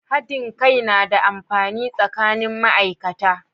Hadin kai na da amfani tsakanin ma'aikata